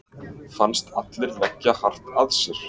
Fannst allir leggja hart að sér.